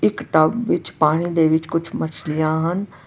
ਇੱਕ ਟੱਬ ਵਿੱਚ ਪਾਣੀ ਦੇ ਵਿੱਚ ਕੁਝ ਮਛਲੀਆਂ ਹਨ।